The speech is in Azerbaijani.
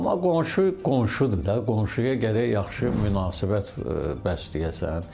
Amma qonşu qonşudur da, qonşuya gərək yaxşı münasibət bəsləyəsən.